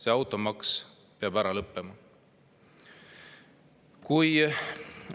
See automaks peab ära lõppema!